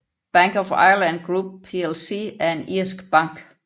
Bank of Ireland Group plc er en irsk bank